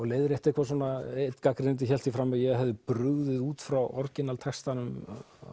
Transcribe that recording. leiðrétta eitthvað svona einn gagnrýnandi hélt því fram að ég hefði brugðið út frá textanum